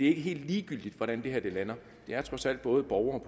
ikke helt ligegyldigt hvordan det her lander det er trods alt både borgerne